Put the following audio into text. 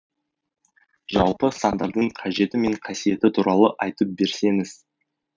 жалпы сандардың қажеті мен қасиеті туралы айтып берсеңіз